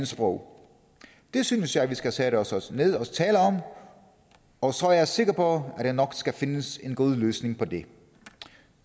sprog det synes jeg at vi skal sætte os os ned og tale om og så er jeg sikker på at der nok skal findes en god løsning på det